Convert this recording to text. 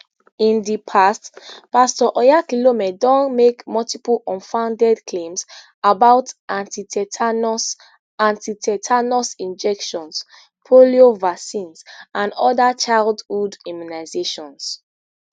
in di past pastor oyakhilome don make multiple unfounded claims about antitetanus antitetanus injections polio vaccines and oda childhood immunizations